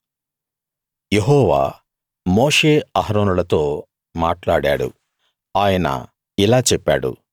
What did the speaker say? యెహోవా Moshe అహరోనులతో మాట్లాడాడు ఆయన ఇలా చెప్పాడు